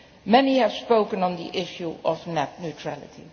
Many have spoken on the issue of net neutrality.